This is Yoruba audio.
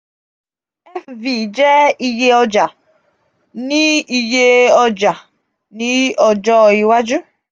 fv je iye oja ni iye oja ni ojo iwaju